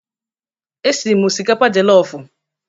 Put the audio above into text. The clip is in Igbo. E siri m osikapa jelofụ.